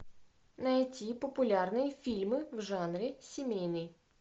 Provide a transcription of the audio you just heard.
найти популярные фильмы в жанре семейный